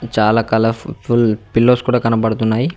చాలా colourful pillows కూడా కనపడుతున్నాయి.